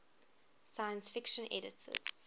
science fiction editors